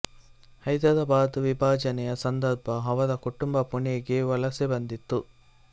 ಹೈದರಾಬಾದ್ ವಿಭಜನೆನೆಯ ಸಂದರ್ಭ ಅವರ ಕುಟುಂಬ ಪುಣೆಗೆ ವಲಸೆ ಬಂದಿತು